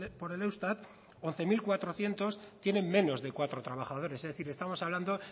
por el eustat once mil cuatrocientos tienen menos de cuatro trabajadores es decir estamos hablando